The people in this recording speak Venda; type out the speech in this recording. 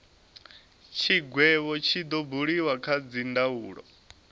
tshigwevho tshi do buliwa kha dzindaulo